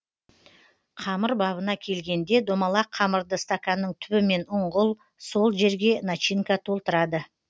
қамыр бабына келгенде домалақ қамырды стаканның түбімен ұңғыл сол жерге начинка толтырады